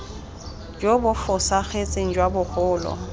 jo bo fosagetseng jwa bogolo